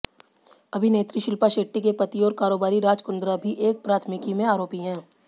अभिनेत्री शिल्पा शेट्टी के पति और कारोबारी राज कुंद्रा भी एक प्राथमिकी में आरोपी हैं